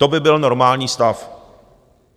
To by byl normální stav.